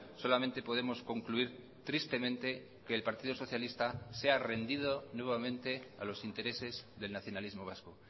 solamente podemos concluir tristemente que el partido socialista se ha rendido nuevamente a los intereses del nacionalismo vasco